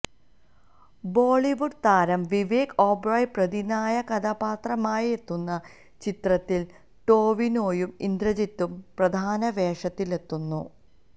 ബോളിവുഡ് താരം വിവേക് ഒബ്റോയ് പ്രതിനായക കഥാപാത്രമായെത്തുന്ന ചിത്രത്തില് ടൊവിനോയും ഇന്ദ്രജിതും പ്രധാന വേഷത്തിലെത്തുന്നു